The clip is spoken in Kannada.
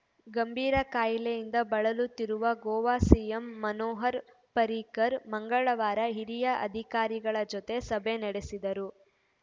ಗಂಭೀರ ಕಾಯಿಲೆಯಿಂದ ಬಳಲುತ್ತಿರುವ ಗೋವಾ ಸಿಎಂ ಮನೋಹರ್‌ ಪರ್ರಿಕರ್‌ ಮಂಗಳವಾರ ಹಿರಿಯ ಅಧಿಕಾರಿಗಳ ಜೊತೆ ಸಭೆ ನಡೆಸಿದರು